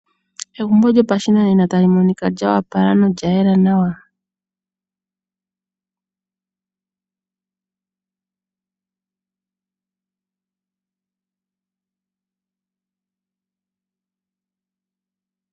Egumbo lyopashinanena tali monika lyoopala nolya yela nawa.